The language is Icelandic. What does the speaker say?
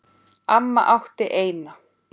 Amma átti eina.